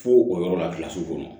Fo o yɔrɔ la kɔnɔ